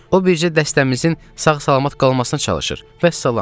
O bircə dəstəmizin sağ-salamat qalmasına çalışır, vəssalam.